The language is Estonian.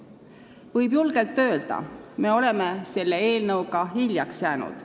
Võib julgelt öelda: me oleme selle eelnõuga hiljaks jäänud.